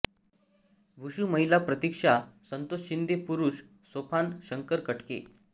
wushu महिला प्रतीक्षा संतोष शिंदे पुरुष सोपान शंकर कटके